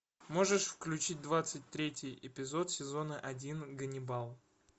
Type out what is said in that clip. можешь включить двадцать третий эпизод сезона один ганнибал